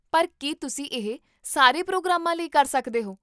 ਪਰ ਕੀ ਤੁਸੀਂ ਇਹ ਸਾਰੇ ਪ੍ਰੋਗਰਾਮ ਾਂ ਲਈ ਕਰ ਸਕਦੇ ਹੋ?